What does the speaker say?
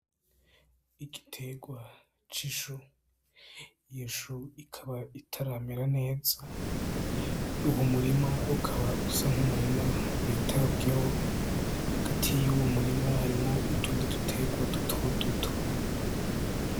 Igiterwa c'ishu, iyo shu ikaba itaramera neza, uwo murima ukaba usa n'umurima witaweho, hagati y'uwo murima harimwo utundi duterwa duto duto.